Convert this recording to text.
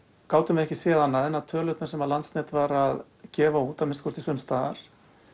gátum við ekki séð annað en að tölurnar sem Landsnet var að gefa út að minnsta kosti sums staðar